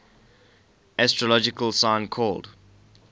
astrological sign called